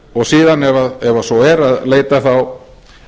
og síðan ef svo er að leita þá